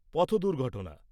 পথ দুর্ঘটনা